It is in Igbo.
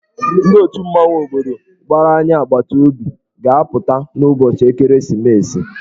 Ndị otù mmanwụ obodo gbara anyị agbataobi ga-apụta n'ụbọchị ekeresimesi.